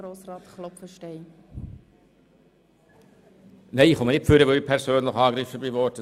Nein, ich komme nicht ans Mikrofon, weil ich mich persönlich angegriffen fühle.